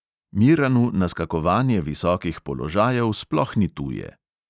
Miranu naskakovanje visokih položajev sploh ni tuje.